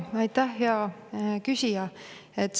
Aitäh, hea küsija!